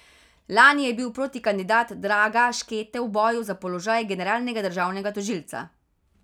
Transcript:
Lani je bil protikandidat Draga Škete v boju za položaj generalnega državnega tožilca.